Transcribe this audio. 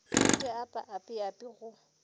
di apa api api go